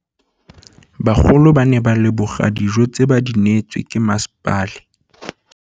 Bagolo ba ne ba leboga dijô tse ba do neêtswe ke masepala.